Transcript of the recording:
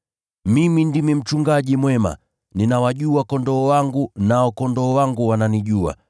“Mimi ndimi mchungaji mwema. Ninawajua kondoo wangu nao kondoo wangu wananijua.